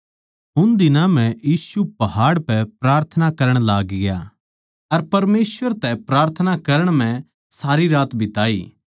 उन दिनां म्ह यीशु पहाड़ पै प्रार्थना करण लागग्या अर परमेसवर तै प्रार्थना करण म्ह सारी रात बिताई